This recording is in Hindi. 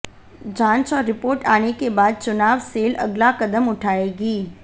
जांच और रिपोर्ट आने के बाद चुनाव सेल अगला कदम उठाएगी